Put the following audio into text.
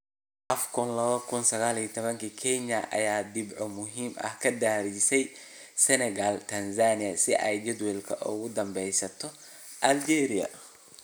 AFCON2019: Kenya ayaa dhibco muhiim ah ka raadinaysa Senegal, Tanzania si ay jadwalka ugu dhameysato Algeria